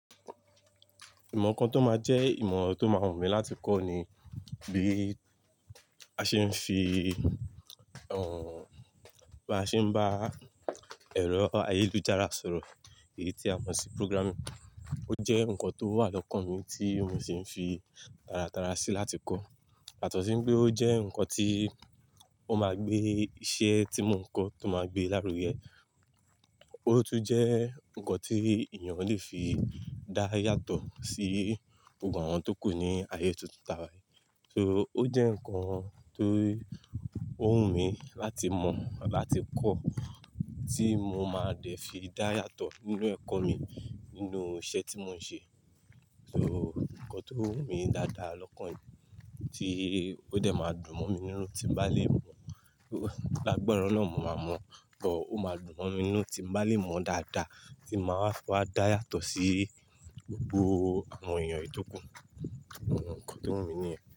Ìmọ̀ kan tó máa jẹ́ ìmọ̀ tó máa wù mí láti kọ́ ni bí a ṣe ń fi, ẹ́ n ò, bí a ṣe ń bá ẹ̀rọ ayélujára sọ̀rọ̀. Èyí tí a mọ̀ sí programming. Ó jẹ́ nǹkan tó wà lọ́kàn mi tí mo sì ń fi tara tara sí láti kọ́. Yatọ̀sí pé ó jẹ́ nǹkan tí ó máa gbé iṣẹ́ tí mò ń kọ tó máa gbé lárugẹ. Ó tún jẹ́ nǹkan tí ènìyàn le fi dá yàtọ̀ sí gbogbo àwọn tó kù ní ayé tuntun ta wá yìí. So ó jẹ́ nǹkan tó wù mí láti mọ̀ làti kọ́ tí mo máa dẹ̀ fi dá yàtọ̀ nínú ẹ̀kọ́ mi, nínú iṣẹ́ tí mò ń ṣe. So nǹkan tó wù mí dáadáa lọ́kàn yìí tí ó dẹ̀ máa dùn mọ́ mi nínú tí n bá lè mọ̀. Lágbára Ọlọ́run mo máa mọ̀, tọ́ ó máa dùn mọ́ mi nínú tí n bá lè mọ̀ dáadáa tí màá fún wa dá yàtọ̀ sí gbogbo àwọn ènìyàn èyí tó kù. Nǹkan tó wù mí nìyẹn.